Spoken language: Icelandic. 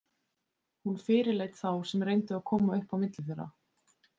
Hún fyrirleit þá sem reyndu að koma upp á milli þeirra.